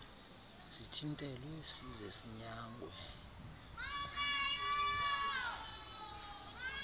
sithintelwe size sinyangwe